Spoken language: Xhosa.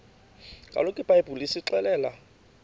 kaloku ibhayibhile isixelela